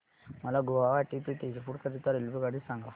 मला गुवाहाटी ते तेजपुर करीता रेल्वेगाडी सांगा